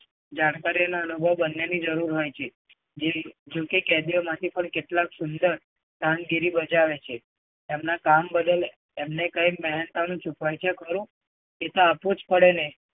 જાણકારી અને અનુભવ બંનેની જરુંર હોય છે. જો કે કેદીઓમાંથી પણ કેટલાક સુંદર કામગીરી બજાવે છે. એમના કામ બદલ એમને કઈ મહેનતાણું ચૂકવાય છે ખરું? એ તો આપવું જ પડે ને!